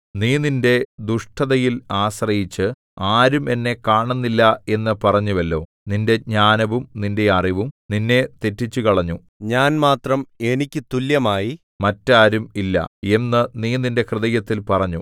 നീ നിന്റെ ദുഷ്ടതയിൽ ആശ്രയിച്ചു ആരും എന്നെ കാണുന്നില്ല എന്നു പറഞ്ഞുവല്ലോ നിന്റെ ജ്ഞാനവും നിന്റെ അറിവും നിന്നെ തെറ്റിച്ചുകളഞ്ഞു ഞാൻ മാത്രം എനിക്ക് തുല്യമായി മറ്റാരും ഇല്ല എന്നു നീ നിന്റെ ഹൃദയത്തിൽ പറഞ്ഞു